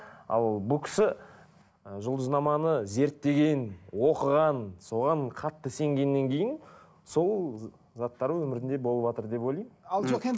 ал бұл кісі ы жұлдызнаманы зерттеген оқыған соған қатты сенгеннен кейін сол заттар өмірінде болыватыр деп ойлаймын ал жоқ енді